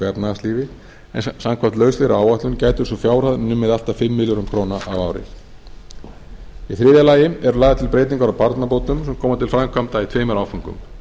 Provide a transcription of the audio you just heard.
efnahagslífi en samkvæmt lauslegri áætlun gæti sú fjárhæð numið allt að fimm milljörðum króna á ári í þriðja lagi eru lagðar til breytingar á barnabótum sem koma til framkvæmda í tveimur áföngum